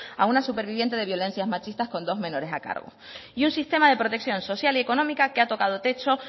a una superviviente de violencias machistas con dos menores a cargo y un sistema de protección social y económica que ha tocado techo